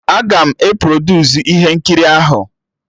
Aga m e produsu ihe nkiri ahụ